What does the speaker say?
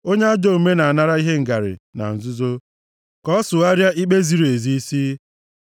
Onye ajọ omume na-anara ihe ngarị + 17:23 \+xt Ọpụ 23:8\+xt* na nzuzo ka ọ sụgharịa ikpe ziri ezi isi.